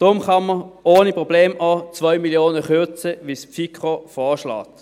Deshalb kann man ohne Probleme auch um 2 Mio. Franken kürzen, wie die FiKo vorschlägt.